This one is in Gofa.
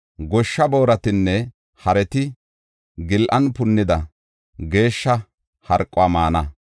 Goshsha booratinne hareti gillan punetida geeshsha harquwa maana.